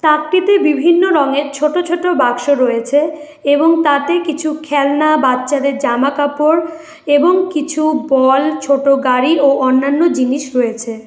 তাকটিতে বিভিন্ন রঙের ছোট ছোট বাক্স রয়েছে এবং তাতে কিছু খেলনা বাচ্চাদের জামা কাপড় এবং কিছু বল ছোট গাড়ি ও অন্যান্য জিনিস রয়েছে।